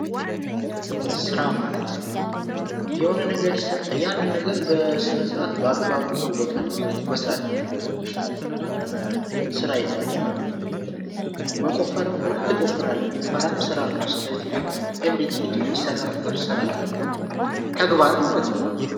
ስራ ማለት የሆነ ነገር ይሰጣል ያን ነገር በአግባቡ መወጣት ማለት ነዉ መስራት ስራ ይባላል። መቆፈርም ከሆነ ትቆፍራለህ ስራ ነዉ። ስለዚህ ኤቭሪቲንግ ስራ ነዉ ማለት ነዉ።